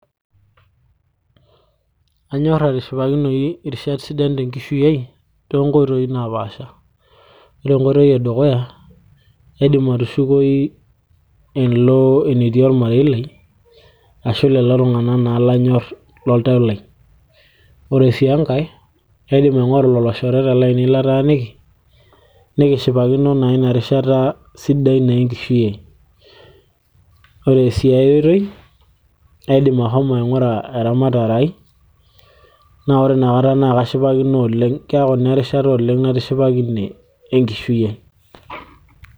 anyorr atishipakinoyu irishat sidan tenkishui ai toonkoitoi napaasha yiolo enkoitoi edukuya kaidim atushukoyu alo enetii ormarei lai ashu lelo tung'anak naa lanyorr loltau lai ore sii enkay kaidim aing'oru loloshoreta lainei lataaniki nikishipakino naa ina rishata sidai naa enkishui ai ore siia ae oitoi aidim ahomo aing'ura eramatare ai naa ore inakata naa kashipakino oleng keeku ina erishata oleng natishipakine enkishui ai.